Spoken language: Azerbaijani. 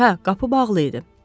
Hə, qapı bağlı idi.